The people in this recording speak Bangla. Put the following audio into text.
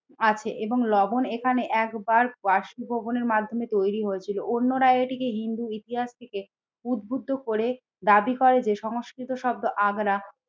আছে এবং লবণ এখানে একবার বাষ্পীভবনের মাধ্যমে তৈরি হয়েছিল। অন্যরা এটিকে হিন্দু ইতিহাস থেকে উদ্বুদ্ধ করে দাবি করে যে সংস্কৃত শব্দ আগ্রা